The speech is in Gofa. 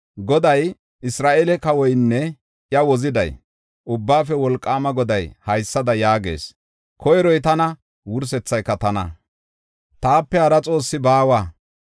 Goday, Isra7eele Kawoynne iya Woziday, Ubbaafe Wolqaama Goday haysada yaagees: “Koyroy tana; wursethay tana; taape hara Xoossi baawa.